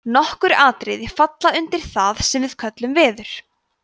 nokkur atriði falla undir það sem við köllum „veður“